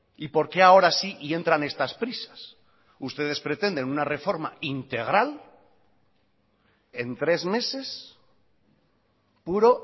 y por qué ahora sí y entran estas prisas ustedes pretenden una reforma integral en tres meses puro